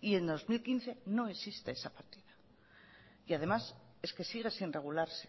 y en dos mil quince no existe esa partida y además es que sigue sin regularse